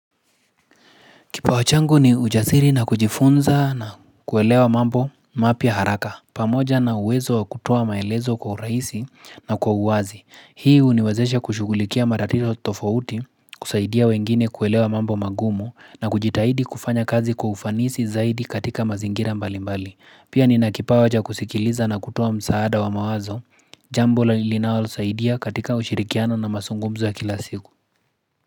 Kipawa changu ni ujasiri na kujifunza na kuelewa mambo mapya haraka. Pamoja na uwezo wa kutoa maelezo kwa urahisi na kwa uwazi. Hii huniwezesha kushughulikia matatizo tofauti, kusaidia wengine kuelewa mambo magumu na kujitahidi kufanya kazi kwa ufanisi zaidi katika mazingira mbali mbali. Pia nina kipawa cha kusikiliza na kutoa msaada wa mawazo jambo la linalosaidia katika ushirikiano na masungumzo ya kila siku.